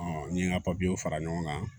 n ye n ka papiyew fara ɲɔgɔn kan